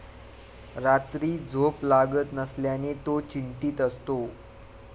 रात्री झोप लागत नसल्याने तो चिंतीत असतो.